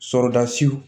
Sɔrɔda siw